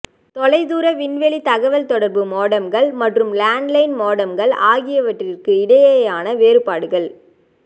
தொலைதூர விண்வெளி தகவல்தொடர்பு மோடம்கள் மற்றும் லேண்ட்லைன் மோடம்கள் ஆகியவற்றுக்கு இடையேயான வேறுபாடுகள்